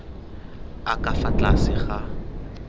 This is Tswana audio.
a ka fa tlase ga